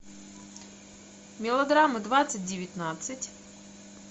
мелодрама двадцать девятнадцать